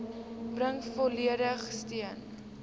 bring volledige steun